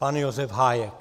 Pan Josef Hájek.